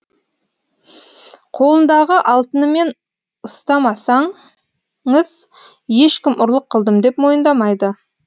қолындағы алтынымен ұстамасаңыз ешкім ұрлық қылдым деп мойындамайды